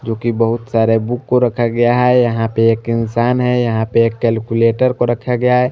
जो की बहोत सारे बुक को रखा गाया है यहाँ पे एक इंसान है यहाँ पे एक कैलकुलेटर को रखा गया है।